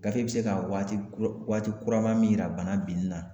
Gafe be se ka waati kura waati kurama min yira bana binni na